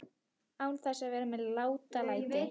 Án þess að vera með látalæti.